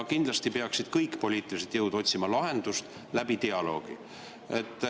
Kindlasti peaksid kõik poliitilised jõud otsima lahendust läbi dialoogi.